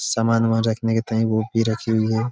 सामान वहाँ रखने के भीं रखी हुई हैं।